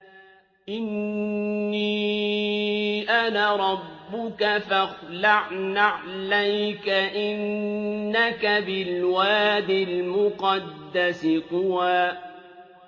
إِنِّي أَنَا رَبُّكَ فَاخْلَعْ نَعْلَيْكَ ۖ إِنَّكَ بِالْوَادِ الْمُقَدَّسِ طُوًى